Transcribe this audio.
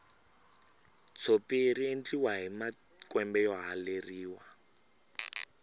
tshopi riendliwa hi makwembe yo haleriwa